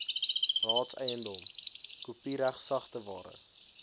raadseiendom kopiereg sagteware